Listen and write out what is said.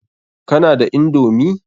Kana da indomi?